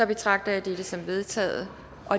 betragter jeg dette som vedtaget